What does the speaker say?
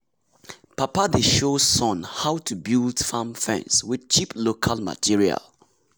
papa dey show show son how to build farm fence with cheap local material.